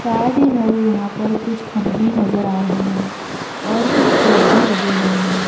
सादी है यहां पर कुछ खंभे नजर आ रहे हैं और कुछ पेड़ भी लगे हुए हैं।